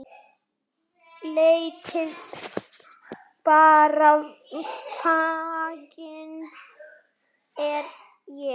Leitið bara, feginn er ég.